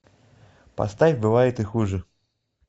поставь бывает и хуже